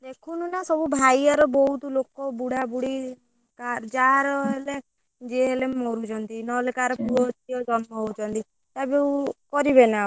ଦେଖୁନୁ ନା ଭାଇଆରେ ସବୁ ବହୁତ ଲୋକ ବୁଢା ବୁଢୀ ଯାହାର ହେଲେ ଯିଏ ହେଲେ ମରୁଛନ୍ତି ନହେଲେ କାହାର ପୁଅ ଝିଅ ଜନ୍ମ ହଉଛନ୍ତି ଯାହା ବି ହଉ କରିବେନା ଆଉ।